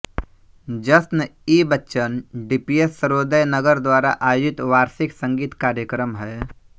जश्न ई बच्चन डीपीएस सर्वोदय नगर द्वारा आयोजित वार्षिक संगीत कार्यक्रम है